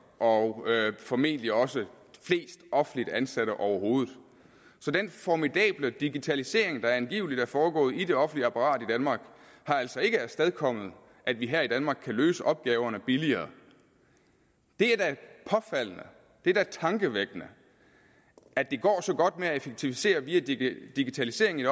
og formentlig også flest offentligt ansatte overhovedet så den formidable digitalisering der angiveligt er foregået i det offentlige apparat i danmark har altså ikke afstedkommet at vi her i danmark kan løse opgaverne billigere det er da påfaldende det er da tankevækkende at det går så godt med at effektivisere via digitalisering i